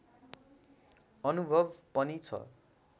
अनुभव पनि छ